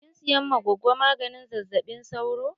Kin siyan ma gogo maganin zazzaɓi sauro?